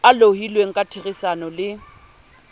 a lohilweng ka therisano le